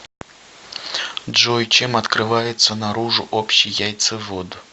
джой чем открывается наружу общий яйцевод